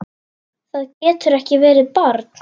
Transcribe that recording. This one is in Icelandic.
Það getur ekki verið, barn!